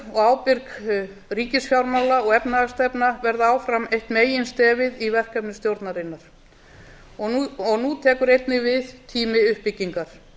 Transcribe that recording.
og ábyrg ríkisfjármála og efnahagsstefna verða áfram eitt meginstefið í verkefni stjórnarinnar nú tekur einnig við tími uppbyggingar